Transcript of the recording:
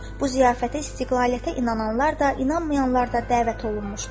Bu ziyafətə istiqlaliyyətə inananlar da, inanmayanlar da dəvət olunmuşdu.